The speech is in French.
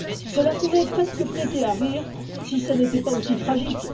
Cela pourrait presque prêter à rire si ce n'était pas aussi tragique.